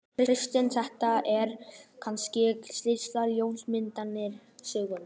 Kristján: Þetta er kannski stysta ljósmyndasýning sögunnar?